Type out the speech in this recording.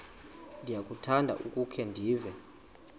ndiyakuthanda ukukhe ndive